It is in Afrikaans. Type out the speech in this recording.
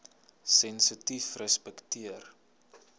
sensitiefrespekteer